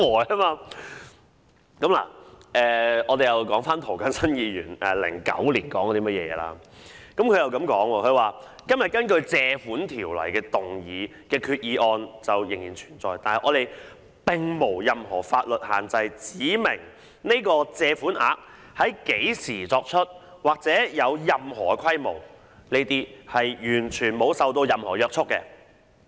涂謹申議員早於2009年已經提出質疑，他說："只要今天根據《借款條例》動議的決議案仍然存在......我們並沒有任何法律限制指明這個基金或這項借款額在何時作出或有任何規模，是完全沒受到任何約束的。